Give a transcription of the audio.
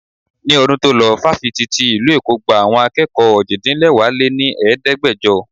Ní ọdún to lo Fáfitì tí ìlú Èkó gba àwọn akẹ́kọ̀ọ́ òjì-dín-lẹwá lé ní Ẹ̀ẹ́dẹ́gbẹjọ.